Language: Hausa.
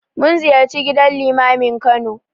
Mun ziyarci gidan Limamin Kano.